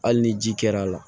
Hali ni ji kɛr'a la